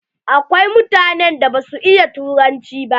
Akwai mutanen da ba su iya turanci ba.